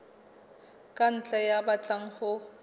ka ntle ya batlang ho